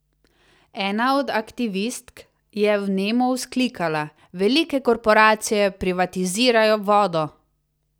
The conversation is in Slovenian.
Ena od aktivistk je vnemo vzklikala: "Velike korporacije privatizirajo vodo!